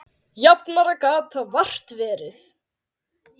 Jafnara gat það vart verið.